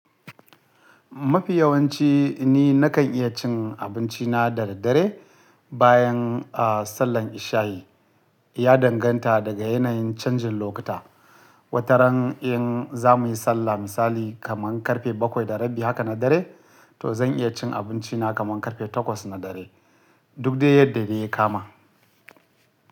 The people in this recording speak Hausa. Mafi yawanci ni nakan iya cin abinci na da daddare bayan, ah, sallan ishayi. Ya danganta daga yanayin canjin lokuta. Wataran in za mu yi sallah misali kaman karfe bakwai da rabi haka na dare, to zan iya cin abinci na kaman karfe takwas na dare. Duk dai yadda de yakama.